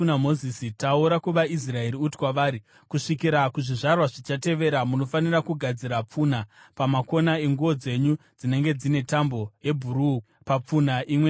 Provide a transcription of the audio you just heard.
“Taura kuvaIsraeri uti kwavari: ‘Kusvikira kuzvizvarwa zvichatevera, munofanira kugadzira pfunha pamakona enguo dzenyu, dzinenge dzine tambo yebhuruu papfunha imwe neimwe.